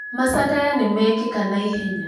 Macakaya nĩmekeka na ihenya